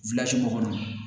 kɔnɔ